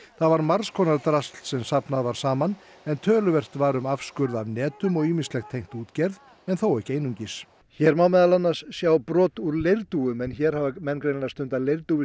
það var margs konar drasl sem safnað var saman en töluvert var um afskurð af netum og ýmislegt tengt útgerð en þó ekki einungis hér má meðal annars sjá brot úr leirdúfu en hér hafa menn greinilega stundað